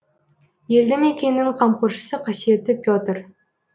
елді мекеннің қамқоршысы қасиетті петр